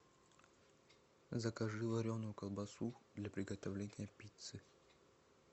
закажи вареную колбасу для приготовления пиццы